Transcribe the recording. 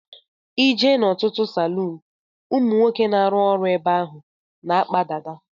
I jee n'otutu salun ụmụnwoke na-aru ọrụ ebe ahụ na-akpa dada.